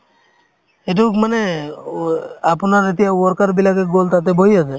এইটোক মানে অ আপোনাৰ এতিয়া worker বিলাকে গ'ল তাতে বহি আছে